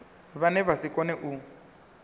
vhane vha si kone u